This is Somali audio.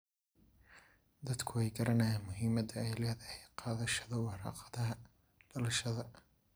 Dadku way garanayaan muhiimada ay leedahay qaadashada warqadaha dhalashada.